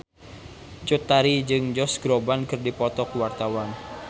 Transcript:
Cut Tari jeung Josh Groban keur dipoto ku wartawan